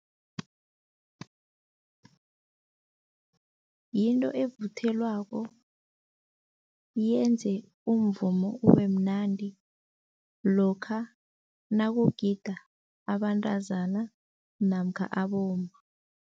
Yinto evuthelwako, yenze umvumo ube mnandi lokha nakugida abantazana namkha abomma.